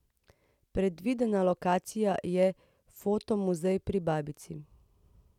Predvidena lokacija je Fotomuzej pri babici.